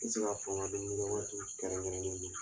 N bɛ se ka fɔ n ka dumuni kɛ yɔrɔ kɛrɛnkɛrɛnen nin bɛ yen